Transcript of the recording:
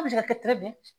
An bɛ se ka kɛ